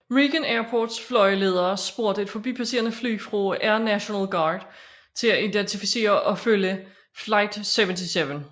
Reagan Airports flyveledere spurgte et forbipasserende fly fra Air National Guard til at identificere og følge Flight 77